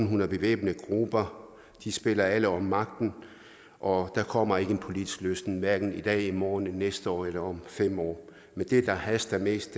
hundrede bevæbnede grupper de spiller alle med om magten og der kommer ikke en politisk løsning hverken i dag i morgen næste år eller om fem år men det der haster mest